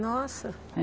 Nossa!